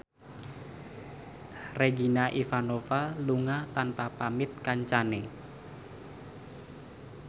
Regina Ivanova lunga tanpa pamit kancane